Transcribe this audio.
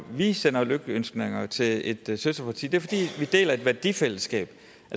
vi sender lykønskninger til et søsterparti det fordi vi deler et værdifællesskab